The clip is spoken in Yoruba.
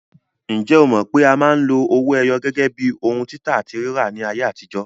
Ǹjẹ́ o mọ̀ pé a máa ń lo owó ẹyọ gẹ́gẹ́ bíi ohun títà àti rírà ní ayé àtijó?